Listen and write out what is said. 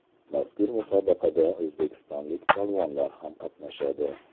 Mazkur musobaqada o‘zbekistonlik polvonlar ham qatnashadi.